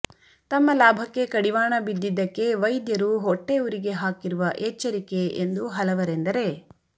ತಮ್ಮ ಲಾಭಕ್ಕೆ ಕಡಿವಾಣ ಬಿದ್ದಿದ್ದಕ್ಕೆ ವೈದ್ಯರು ಹೊಟ್ಟೆ ಉರಿಗೆ ಹಾಕಿರುವ ಎಚ್ಚರಿಕೆ ಎಂದು ಹಲವರೆಂದರೆ